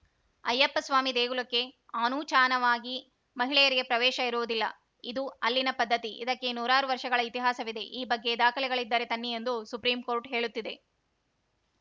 ಅಯ್ಯಪ್ಪಸ್ವಾಮಿ ದೇಗುಲಕ್ಕೆ ಆನೂಚಾನವಾಗಿ ಮಹಿಳೆಯರಿಗೆ ಪ್ರವೇಶ ಇರುವುದಿಲ್ಲ ಇದು ಅಲ್ಲಿನ ಪದ್ಧತಿ ಇದಕ್ಕೆ ನೂರಾರು ವರ್ಷಗಳ ಇತಿಹಾಸವಿದೆ ಈ ಬಗ್ಗೆ ದಾಖಲೆಗಳಿದ್ದರೆ ತನ್ನಿ ಎಂದು ಸುಪ್ರೀಂಕೋರ್ಟ್‌ ಹೇಳುತ್ತಿದೆ